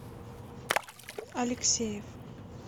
алексеев